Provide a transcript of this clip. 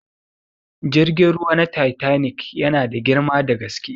Jirgin ruwa na titanic yana da girma da gaske.